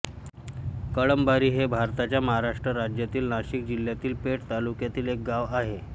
कळंबारी हे भारताच्या महाराष्ट्र राज्यातील नाशिक जिल्ह्यातील पेठ तालुक्यातील एक गाव आहे